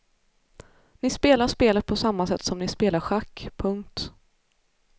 Ni spelar spelet på samma sätt som ni spelar schack. punkt